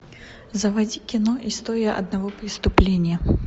заводи кино история одного преступления